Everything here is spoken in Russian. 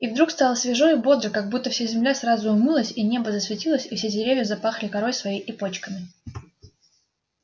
и вдруг стало свежо и бодро как будто вся земля сразу умылась и небо засветилось и все деревья запахли корой своей и почками